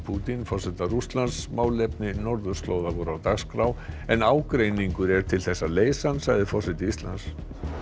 Pútín forseta Rússlands málefni norðurslóða voru á dagskrá en ágreiningur er til þess að leysa hann sagði forseti Íslands